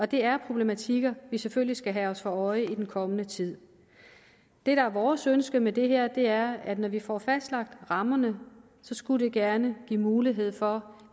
det er problematikker vi selvfølgelig skal have os for øje i den kommende tid det der er vores ønske med det her er at når vi får fastlagt rammerne skulle det gerne give mulighed for